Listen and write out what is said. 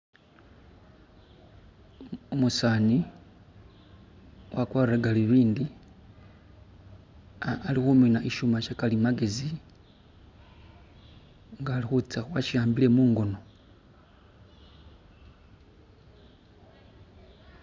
Umusaani wakwalire galubindi, alihumina ishuma Sha kalimagezi, nga Ali hutsya wasi ambile mungono